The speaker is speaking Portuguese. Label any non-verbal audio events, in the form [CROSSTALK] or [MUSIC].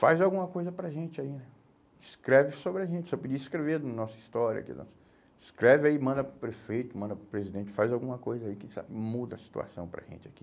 faz alguma coisa para a gente aí, escreve sobre a gente, você podia escrever a nossa história, [UNINTELLIGIBLE] escreve aí, manda para o prefeito, manda para o presidente, faz alguma coisa aí quem sabe muda a situação para a gente aqui.